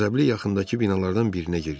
Qəzəbli yaxındakı binalardan birinə girdi.